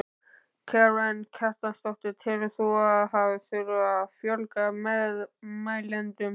Karen Kjartansdóttir: Telur þú að það þurfi að fjölga meðmælendum?